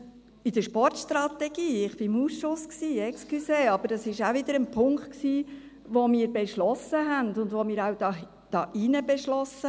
Und in der Sportstrategie: Ich war im Ausschuss, Entschuldigung, aber das war auch wieder ein Punkt, den wir beschlossen hatten, und den wir auch hier drin beschlossen.